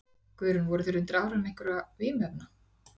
Guðrún: Voru þeir undir áhrifum einhverra vímuefna?